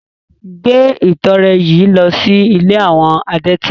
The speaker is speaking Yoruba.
Gbé ìtọrẹ yìí lọ sí ilé àwọn adẹ́tẹ̀!